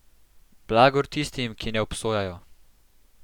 Blagor tistim, ki ne obsojajo.